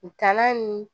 U kan'a nu